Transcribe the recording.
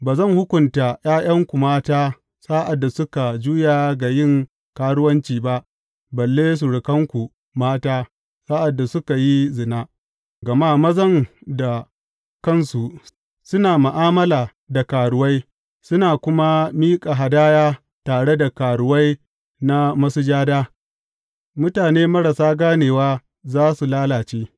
Ba zan hukunta ’ya’yanku mata sa’ad da suka juya ga yin karuwanci ba, balle surukanku mata, sa’ad da suka yi zina, gama mazan da kansu suna ma’amala da karuwai suna kuma miƙa hadaya tare da karuwai na masujada, mutane marasa ganewa za su lalace!